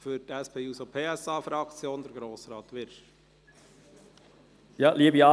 für die SP-JUSO-PSA-Fraktion: Grossrat Wyrsch.